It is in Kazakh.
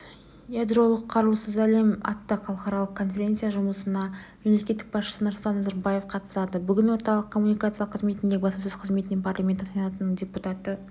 ядролық қарусыз әлем атты халықаралық конференция жұмысына мемлекет басшысы нұрсұлтан назарбаев қатысады бүгін орталық коммуникациялар қызметіндегі баспасөз қызметінде парламенті сенатының депутаты